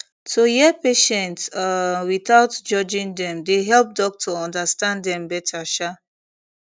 to hear patient um without judging dem dey help doctor understand dem better um